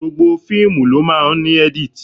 Gbogbo fíìmù ló máa ń edit.